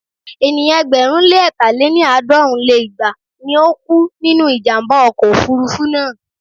Ènìyàn ẹgbẹ̀rún lé ẹ̀ta lé ní- àádọ́rùn lé igba ni ó kú nínú ìjàm̀bá ọkọ̀ òfurufú náà.